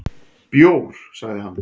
"""Bjór, sagði hann."""